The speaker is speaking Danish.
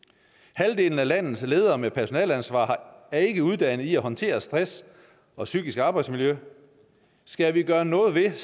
halvdelen af landets ledere med personaleansvar er ikke uddannet i at håndtere stress og psykisk arbejdsmiljø skal vi gøre noget ved